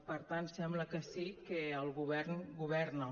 per tant sembla que sí que el govern governa